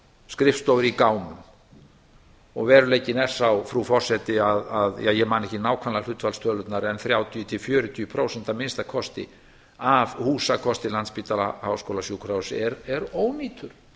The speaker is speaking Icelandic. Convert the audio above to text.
skrifstofur í gámum og veruleikinn er sá frú forseti að ég man ekki nákvæmlega hlutfallstölurnar en þrjátíu til fjörutíu prósent að minnsta kosti af húsakosti landspítala háskólasjúkrahúss er ónýtur